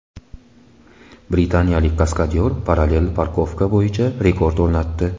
Britaniyalik kaskadyor parallel parkovka bo‘yicha rekord o‘rnatdi .